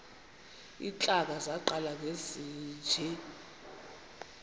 iintlanga zaqala ngezinje